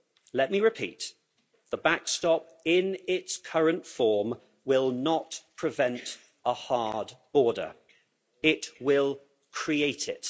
Let me repeat, the backstop in its current form will not prevent a hard border, it will create it.